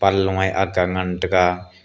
long a aakga ngan tega.